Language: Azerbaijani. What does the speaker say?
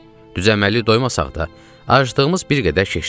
Düz-əməlli doymasaq da, aclığımız bir qədər keçdi.